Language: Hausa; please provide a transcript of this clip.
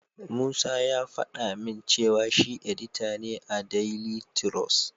Musa ya faɗa min cewa shi edita ne a daili tirus.